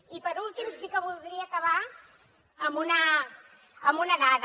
i per últim sí que voldria acabar amb una dada